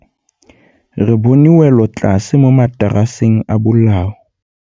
Re bone wêlôtlasê mo mataraseng a bolaô.